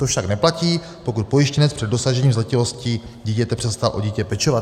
To však neplatí, pokud pojištěnec před dosažením zletilosti dítěte přestal o dítě pečovat."